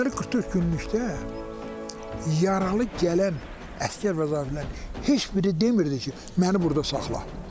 Deməli 44 günlükdə yaralı gələn əsgər və zabitlər heç biri demirdi ki, məni burda saxla.